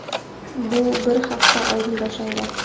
Bu bir hafta oldin boshlangan.